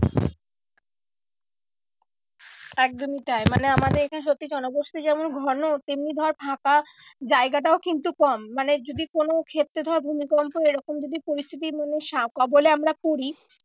একদমই তাই মানে আমাদের এখানে সত্যি জনবসতি যেমন ঘন তেমনি ধর ফাঁকা জায়গাটাও কিন্তু কম মানে যদি কোনো ক্ষেত্রে ধর ভূমিকম্প এরকম যদি পরিস্থিতি মানে কবলে আমরা পরি